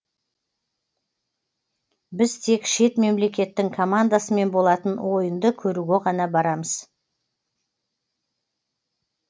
біз тек шет мемлекеттің командасымен болатын ойынды көруге ғана барамыз